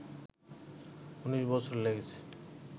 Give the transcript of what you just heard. ১৯ বছর লেগেছে